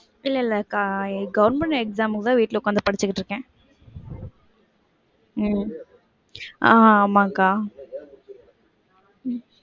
இல்ல இல்லக்கா, government exam க்கு தான் வீட்ல உக்காந்து படிச்சிட்டு இருக்கேன். உம் ஆஹ் ஆமாம்கா. உம்